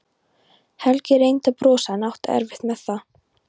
Helgi reyndi að brosa en átti erfitt með það.